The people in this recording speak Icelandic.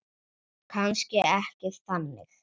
Kannski ekki þannig.